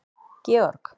Georg